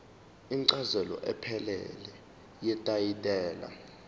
incazelo ephelele yetayitela